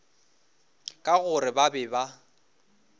ka gore ba be ba